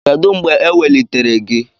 Kedu mgbe ewelitere gị?